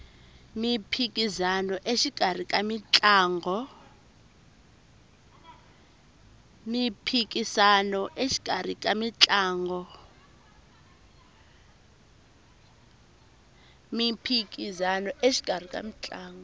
miphikisano exikarhi ka mitlangu